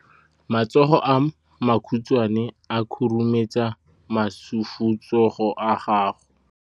Matsogo a makhutshwane a khurumetsa masufutsogo a gago.